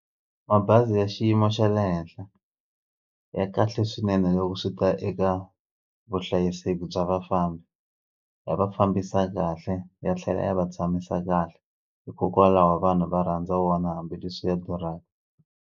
Mabazi ya xiyimo xa le henhla ya kahle swinene loko swi ta eka vuhlayiseki bya vafambi ya va fambisa kahle ya tlhela ya va tshamisa kahle hikokwalaho vanhu va rhandza wona hambileswi ya durhaka.